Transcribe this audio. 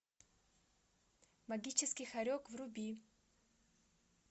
магический хорек вруби